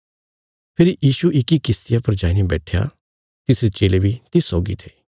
फेरी यीशु इक्की किश्तिया पर जाईने बैट्ठया तिसरे चेले बी तिस सौगी थे